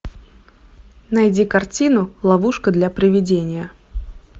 найди картину ловушка для привидения